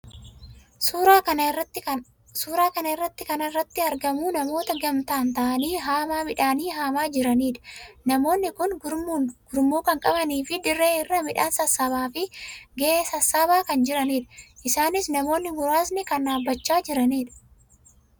Suuraa kana irratti kana irratti kan argamu namoota gamtaa taa'aanii haamaa miidhanii haamaa jiranii dha. Namoonni kun gurmuu kan qabanii fi dirree irra miidhan sassaaabbiif ga'e sassaabaa kan jiraniidha. Isaannis namoonni muraasni kan dhaabbachaa jiranii dha.